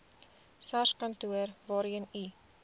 sarskantoor waarheen u